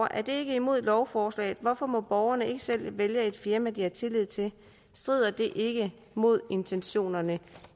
er det ikke imod lovforslaget hvorfor må borgerne ikke selv vælge et firma de har tillid til strider det ikke mod intentionerne